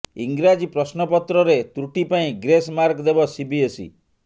ଇଂରାଜୀ ପ୍ରଶ୍ନପତ୍ରରେ ତ୍ରୁଟି ପାଇଁ ଗ୍ରେସ୍ ମାର୍କ ଦେବ ସିବିଏସ୍ଇ